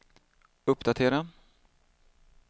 uppdatera